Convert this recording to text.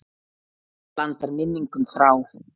Blandar minningum þrá.